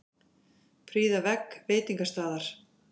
Prýða vegg veitingastaðar